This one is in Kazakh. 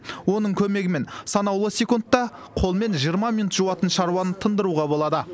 оның көмегімен санаулы секундта қолмен жиырма минут жуатын шаруаны тындыруға болады